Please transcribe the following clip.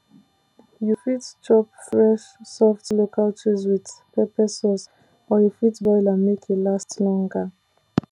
you fit chop fresh soft local cheese with pepper sauce or you fit boil am make e last longer